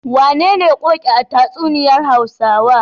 Wacece Ƙoƙi a tatsuniyar Hausawa?